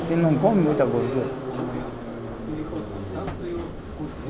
Você não come muita gordura.